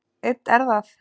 Aumt er það.